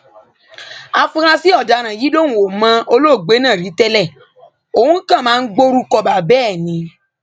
áfúrásì ọdaràn yìí lòun ò mọ olóògbé náà rí tẹlẹ òun kàn máa ń gborúkọ bàbá ẹ ni